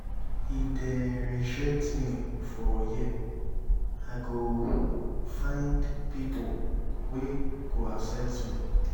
if dem rejectme for here i go um find pipo wey go accept me.